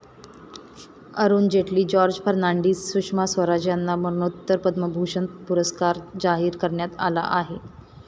अरुण जेटली, जॉर्ज फर्नांडिस, सुषमा स्वराज यांना मरणोत्तर पद्मविभूषण पुरस्कार जाहीर करण्यात आला आहे.